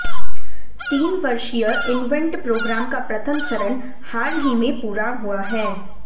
तीन वर्षीय invent programme का प्रथम चरण हाल ही में पूरा हुआ है